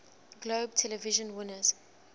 globe television winners